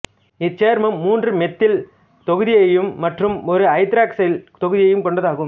இச்சேர்மம் மூன்று மெத்தில் தொகுதியையும் மற்றும் ஒரு ஐதராக்சைல் தொகுதியையும் கொண்டது ஆகும்